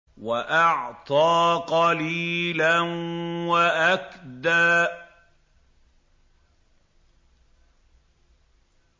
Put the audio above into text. وَأَعْطَىٰ قَلِيلًا وَأَكْدَىٰ